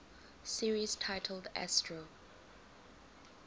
series titled astro